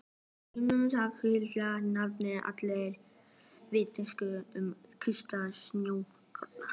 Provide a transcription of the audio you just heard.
Símon hafði vitanlega neitað allri vitneskju um þýska njósnara.